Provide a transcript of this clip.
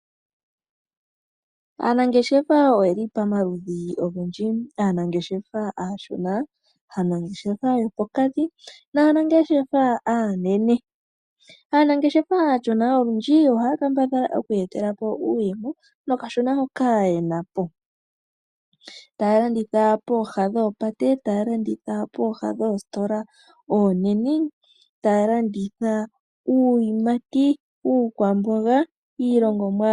Aanangeshefa oyeli pamaludhi ogendji, aanangeshefa aashona, aanangeshefa yopokati naanangeshefa aanene. Aanangeshefa aashona olundji ohaya kambadhala okwii yetela po uuyemo nokashona hoka yena po, taya landitha poohola dhoopate, taya landitha pooha dhoositola oonene, taya landitha uuyimati, uukwamboga.